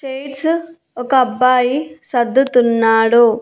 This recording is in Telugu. చైర్స్ ఒక అబ్బాయి సద్దుతున్నాడు.